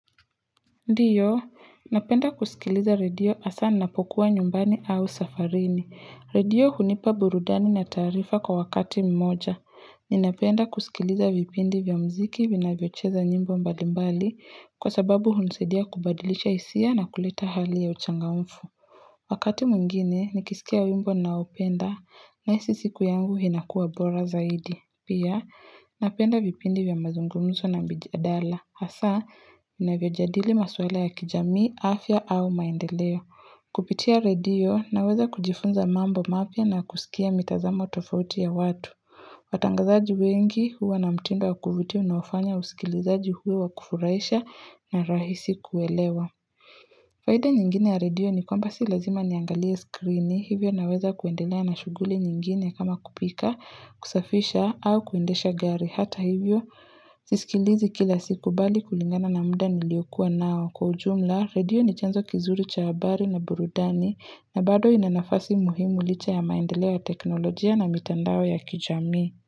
Ndiyo, napenda kusikiliza redio asa napokuwa nyumbani au safarini. Redio hunipa burudani na taarifa kwa wakati mmoja. Ninapenda kusikiliza vipindi vya mziki vinavyocheza nyimbo mbalimbali kwa sababu hunusadia kubadilicha isia na kulita hali ya uchangaunfu. Wakati mwingine, nikisikia wimbo ninaopenda nahisi siku yangu hinakuwa bora zaidi. Pia, napenda vipindi vya mazungumzo na mbijia dala. Hasa, ninavyo jadili maswala ya kijami, afya au maendeleo. Kupitia radio, naweza kujifunza mambo mapya na kusikia mitazamo tofauti ya watu. Watangazaji wengi huwa na mtindo wakuvuti unawafanya usikilizaji huwe wakufurahisha na rahisi kuelewa. Faida nyingine ya radio ni kwamba si lazima niangalia skrini. Hivyo naweza kuendelea na shuguli nyingine kama kupika, kusafisha au kuendesha gari. Hata hivyo, sisikilizi kila siku bali kulingana na muda niliyokuwa nao. Kwa ujumla, radio ni chanzo kizuri cha habari na burudani na bado inanafasi muhimu licha ya maendelea teknolojia na mitandao ya kijami.